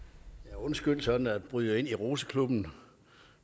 undskyld sådan bryder ind i roseklubben